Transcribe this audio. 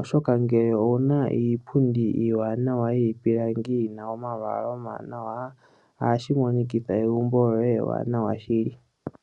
oshoka ngele owuna iipundi iwanawa yipilangi yina omalwala omanawa ashi monikitha egumbo lyoye ewanawa shili.